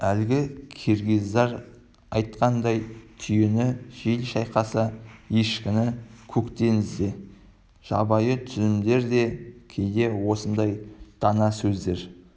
әлгі киргиздар айтқандай түйені жел шайқаса ешкіні көктен ізде жабайы түземдер де кейде осындай дана сөздер